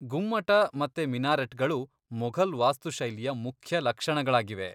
ಗುಮ್ಮಟ ಮತ್ತೆ ಮಿನಾರೆಟ್ಗಳು ಮೊಘಲ್ ವಾಸ್ತು ಶೈಲಿಯ ಮುಖ್ಯ ಲಕ್ಷಣಗಳಾಗಿವೆ.